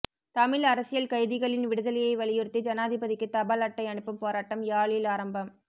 தமிழ் அரசியல் கைதிகளின் விடுதலையை வலியுறுத்தி ஜனாதிபதிக்கு தபால் அட்டை அனுப்பும் போராட்டம் யாழில் ஆரம்பம்